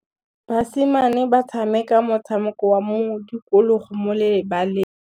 Basimane ba tshameka motshameko wa modikologô mo lebaleng.